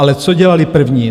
Ale co dělali první?